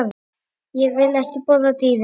Ég vil ekki borða dýrin.